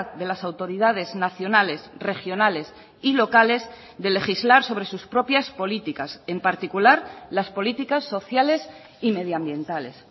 de las autoridades nacionales regionales y locales de legislar sobre sus propias políticas en particular las políticas sociales y medioambientales